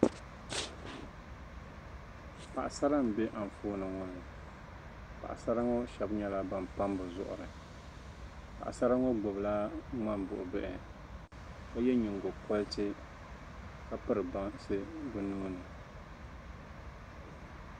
Paɣisara m-be anfooni ŋɔ ni. Paɣisara ŋɔ shɛba nyɛla ban pami bɛ zuɣiri. Paɣisara ŋɔ gbibila ŋmambuɣibihi ka ye nyiŋgokɔriti ka piri bansi bɛ nuhi ni.